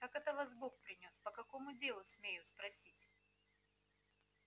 как это вас бог принёс по какому делу смею спросить